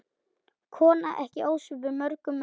Kona ekki ósvipuð mörgum öðrum.